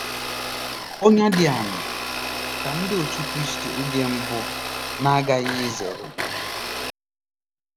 Ọnyà dị aṅaa ka Ndị Otú Kristi oge mbụ na-aghaghị izere?